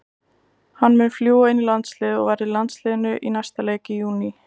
Hann mun fljúga inn í landsliðið og verður í landsliðinu í næsta leik í júní.